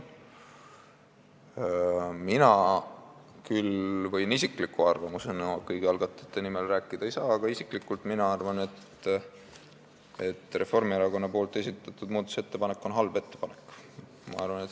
Ma kõigi algatajate nimel rääkida ei saa, aga mina isiklikult arvan, et Reformierakonna esitatud muudatusettepanek on halb ettepanek.